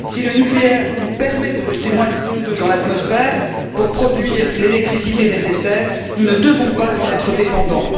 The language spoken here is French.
Si le nucléaire nous permet de rejeter moins de CO2 dans l'atmosphère pour produire l'électricité nécessaire, nous ne devons pas en être dépendants.